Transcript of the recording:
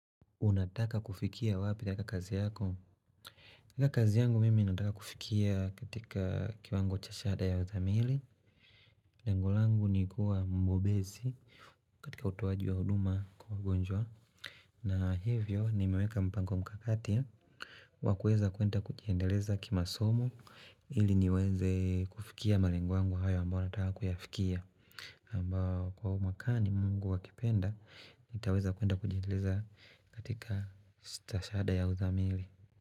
Unataka kufikia wapi katika kazi yako? Kazi yangu mimi ninataka kufikia katika kiwango cha shada ya utamili. Lengo langu nikua mbobezi katika utoaji wa huduma kwa wagonjwa. Na hivyo, nimeweka mpango mkakati. Wakueza kuenda kujiendeleza kimasomo ili niweze kufikia malengo yangu hayo ambao nataka kuyafikia. Ambao kwa umakani mungu akipenda nitaweza kwenda kujiendeleza katika stashahada ya uzamili.